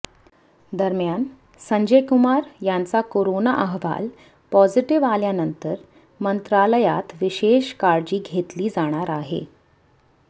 दरम्यान संजय कुमार यांचा कोरोना अहवाल पॉझिटिव्ह आल्यानंतर मंत्रालयात विशेष काळजी घेतली जाणार आहे